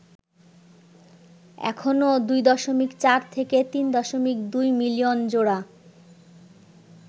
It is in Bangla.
এখনও ২.৪-৩.২ মিলিয়ন জোড়া